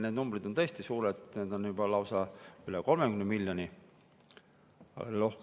Need numbrid on tõesti suured, juba lausa üle 30 miljoni.